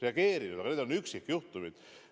Aga need on olnud üksikjuhtumid.